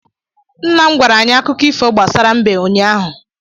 Nna m gwara anyị Akụkọ ifo gbasara mbe ụnyaahụ